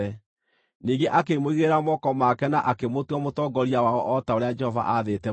Ningĩ akĩmũigĩrĩra moko make na akĩmũtua mũtongoria wao o ta ũrĩa Jehova aathĩte Musa.